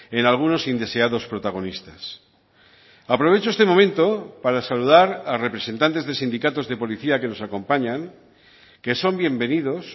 en algunos indeseados protagonistas aprovecho este momento para saludar a representantes de sindicatos de policía que nos acompañan que son bienvenidos